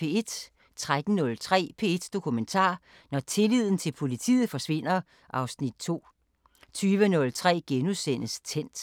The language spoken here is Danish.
13:03: P1 Dokumentar: Når tilliden til politiet forsvinder (Afs. 2) 20:03: Tændt *